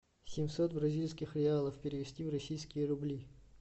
семьсот бразильских реалов перевести в российские рубли